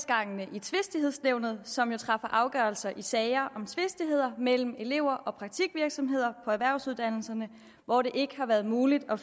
i tvistighedsnævnet som jo træffer afgørelser i de sager om tvistigheder mellem elever og praktikvirksomheder på erhvervsuddannelserne hvor det ikke har været muligt at